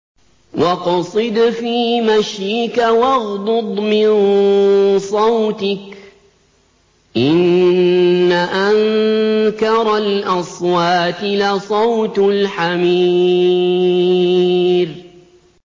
وَاقْصِدْ فِي مَشْيِكَ وَاغْضُضْ مِن صَوْتِكَ ۚ إِنَّ أَنكَرَ الْأَصْوَاتِ لَصَوْتُ الْحَمِيرِ